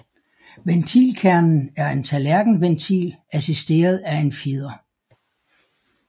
Ventilkernen er en tallerkenventil assisteret af en fjeder